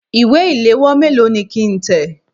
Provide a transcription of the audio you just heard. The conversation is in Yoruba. Ìwé ìléwọ́ méèló ni kí ń tẹ̀?